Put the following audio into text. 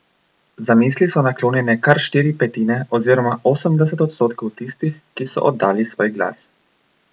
Zamisli so naklonjene kar štiri petine oziroma osemdeset odstotkov tistih, ki so oddali svoj glas.